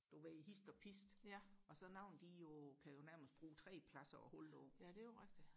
du ved hist og pist og så nogen de jo kan jo nærmest brug tre pladser og holde på